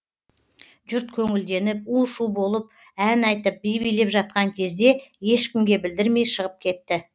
жұрт көңілденіп у шу болып ән айтып би билеп жатқан кезде ешкімге білдірмей шығып кетті